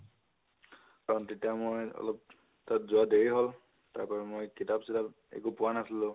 কাৰণ তেতিয়া মই অলপ যোৱা দেৰি হল, তাৰপৰা মই কিতাপ চিতাপ একো পোৱা নাছিলো